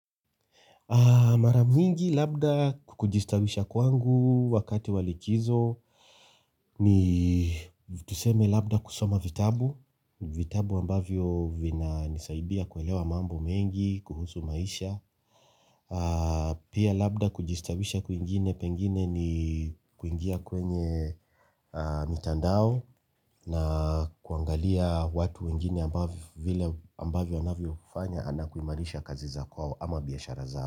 Mara mingi labda kujistawisha kwangu wakati wa likizo ni tuseme labda kusoma vitabu, vitabu ambavyo vinanisaidia kuelewa mambo mengi, kuhusu maisha, pia labda kujistawisha kwingine pengine ni kuingia kwenye mitandao na kuangalia watu wengine ambavyo anavyofanya ana kuimarisha kazi za kwao ama biashara zao.